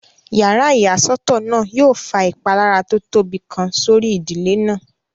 Yàrá ìyàsọ́tọ̀ náà yóò fa ìpalára tó tóbi kan sórí ìdílé náà